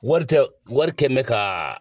Wari tɛ wari kɛmɛ bɛ ka.